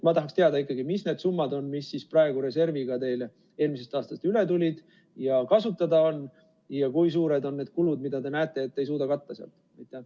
Ma tahaks teada ikkagi, mis need summad on, mis praegu reserviga teile eelmisest aastast üle tulid ja kasutada on, ja kui suured on need kulud, mida te näete, et te ei suuda sealt katta?